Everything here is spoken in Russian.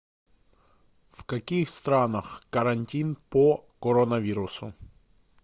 в каких странах карантин по коронавирусу